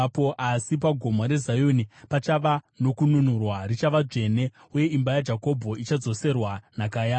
Asi paGomo reZioni pachava nokununurwa; richava dzvene, uye imba yaJakobho ichadzoserwa nhaka yayo.